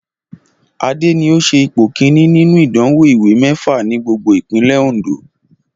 Adé ni ó se ipò kìíní nínú ìdánwò ìwé méfa ní gbogbo ìpínlè Òndó